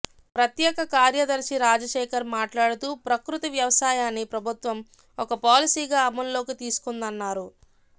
ప్రత్యేక కార్యదర్శి రాజశేఖర్ మాట్లాడుతూ ప్రకృతి వ్యవసాయాన్ని ప్రభుత్వం ఒక పాలసీగా అమల్లోకి తీసుకుందన్నారు